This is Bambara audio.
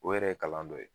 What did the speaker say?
O yɛrɛ ye kalan dɔ ye